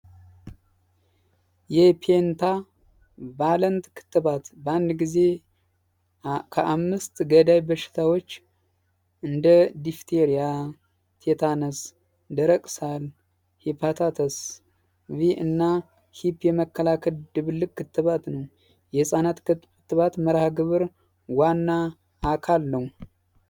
የፒዬንታ ቫለንት ክትባት ባአንድ ጊዜ ከአምስት ገዳይ በሽታዎች እንደ ዲፍቴርያ ቲታነስ ደረቅ ሳል ሂፖታተስ ቪ እና ሂፕ የመከላከ ድብልቅ ክትባት ነው። የህፃናት ክትባት ምርሃ ግብር ዋና አካል ነው።